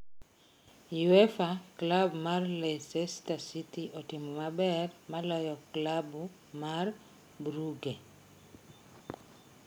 EUEFA:klabu mar Leicester City otimo maber maloyo klabu mar Brugge.